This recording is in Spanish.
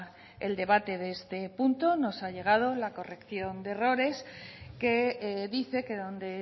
el debate de este punto nos ha llegado la corrección de errores que dice que donde